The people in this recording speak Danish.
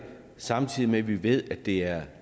samtidig med at vi ved at det er